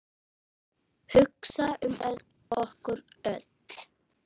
Hugsa um okkur öll.